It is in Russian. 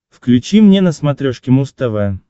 включи мне на смотрешке муз тв